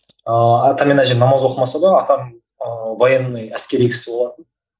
ыыы атам мен әжем намаз оқымаса да атам ыыы военный әскери кісі болатын